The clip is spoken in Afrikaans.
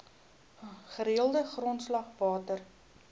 gereelde grondslag water